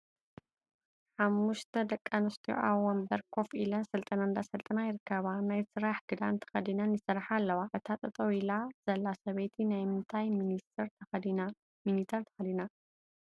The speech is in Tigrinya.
ሓሙሽተ ደቂ ኣንስትዮ ኣብ ወንበር ኮፍ ኢለን ስልጠና እንዳሰልጠና ይርከባ ።ናይ ስራሕ ክዳን ተከዲነን ይሰርሓ አለዋ ።እታ ጠጠው ሂላ ዘላ ሰበይቲ ናይ ምንታይ ሚኒተር ተከዲና?